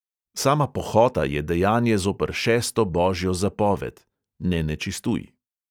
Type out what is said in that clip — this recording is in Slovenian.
Sama pohota je dejanje zoper šesto božjo zapoved (ne nečistuj).